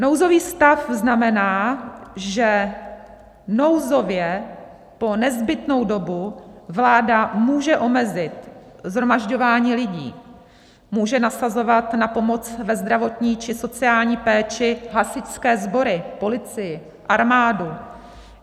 Nouzový stav znamená, že nouzově po nezbytnou dobu vláda může omezit shromažďování lidí, může nasazovat na pomoc ve zdravotní či sociální péči hasičské sbory, policii, armádu.